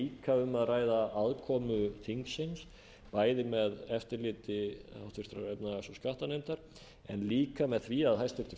sé líka um að ræða aðkomu þingsins bæði með eftirliti háttvirtrar efnahags og skattanefndar en líka með því að hæstvirtur